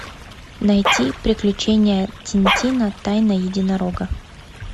найти приключения тинтина тайна единорога